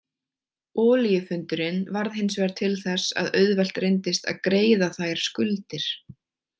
Olíufundurinn varð hinsvegar til þess að auðvelt reyndist að greiða þær skuldir.